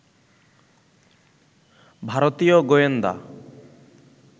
ভারতীয় গোয়েন্দা